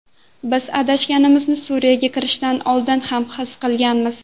Biz adashganimizni Suriyaga kirishdan oldin ham his qilganmiz.